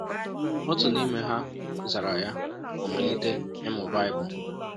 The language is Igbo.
Otu n’ime ha zara ya ma malite ịmụ Baịbụl.